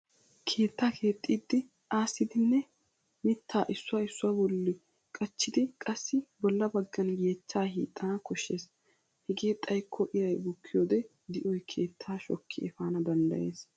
Keetta keexxidi aassidinne mittaa issuwaa issuwa bolli qachchidi qassi bolla baggan yeechchaa hiixxana koshshes. Hegee xayikko iray bukkiyoode di'oy keettaa shokki efana danddayes.